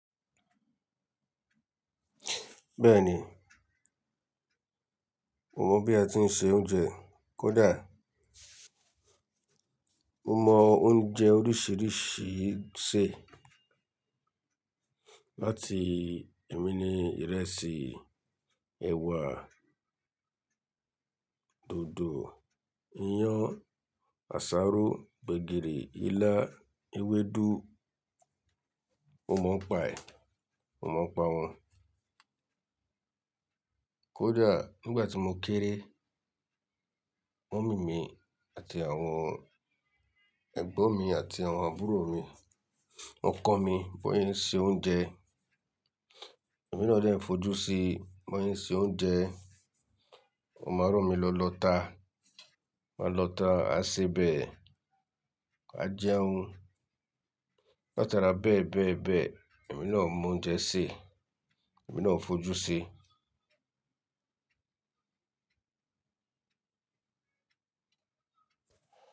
Bẹ́ẹ̀ni, mo mọ̀ bí a ti ń se oúnjẹ. Kódà mo mọ oúnjẹ oríṣìíríṣìí ṣè. Láti èmi ni ìrẹsì, ẹ̀wà, dòdò, iyán, àsáró, gbẹ̀gìrì, ilá, ewédú. Mo m ń pa ẹ̀. Mo mo ń pa wọn. Kódà nígbà tí mo kéré, mọ̀mí mi àti àwọn ẹ̀gbọ́n mi àti àwọn àbúrò mi, wọ́n kọ́ mi bi won se ń ṣe oúnjẹ. Ẹ̀mi náà dẹ̀ fojú sí bí won se ń ṣe oúnjẹ. Mo máa ràn mi lọ lọ́ta. A máa lọ́ta, a sé bẹ̀, a jẹun. Látara bẹ́ẹ̀ bẹ́ẹ̀ bẹ́ẹ̀, èmi náà mọ oúnjẹ sè, èmi náà ń fojú sí.